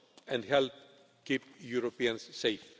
jobs and help keep Europeans safe.